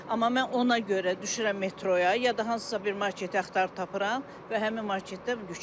Amma mən ona görə düşürəm metroya, ya da hansısa bir marketi axtarıb tapıram və həmin marketdə yükləyirəm.